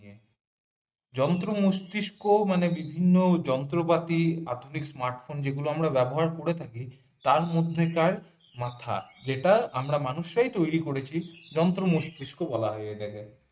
যন্ত্র মস্তিষ্ক মানে বিভিন্ন যন্ত্রপাতি আধুনিক smart phone যেগুলো আমরা ব্যবহার করে থাকি তার মধ্যেকার মাথা যেটা আমরা মানুষরাই তৈরী করেছি যন্ত্র মস্তিষ্ক বলা হয় এটা কে।